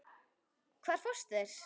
Hvar fást þeir?